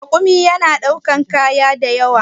Rakumi yana ɗaukan kaya da yawa.